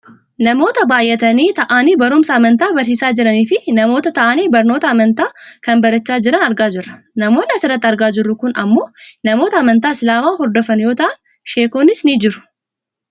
Namoota baayyatanii taa'anii barumsa amantaa barsiisaa jiraniifi Namoota taa'anii barnootaa amantaa kana barachaa jiran argaa jirra. Namoonni asirratti argaa jirru kun ammoo namoota amantaa islaamaa hordofan yoo ta'an sheekonnis ni jiru.